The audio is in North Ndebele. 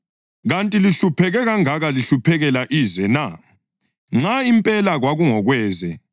Kanti lihlupheke kangaka lihluphekela ize na, nxa impela kwakungokweze?